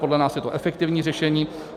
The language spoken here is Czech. Podle nás je to efektivní řešení.